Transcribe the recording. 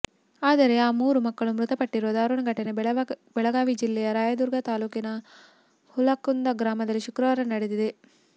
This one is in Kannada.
ಆದರೆ ಆ ಮೂರು ಮಕ್ಕಳು ಮೃತಪಟ್ಟಿರುವ ದಾರುಣ ಘಟನೆ ಬೆಳಗಾವಿ ಜಿಲ್ಲೆಯ ರಾಯದುರ್ಗ ತಾಲೂಕಿನ ಹುಲಕುಂದ ಗ್ರಾಮದಲ್ಲಿ ಶುಕ್ರವಾರ ನಡೆದಿದೆ